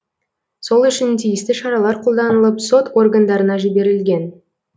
сол үшін тиісті шаралар қолданылып сот органдарына жіберілген